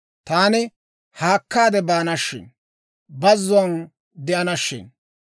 taani haakkaade baana shin; Bazzuwaan de'ana shin.